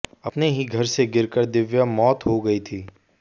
अपने ही घर से गिरकर दिव्या मौत हो गई थी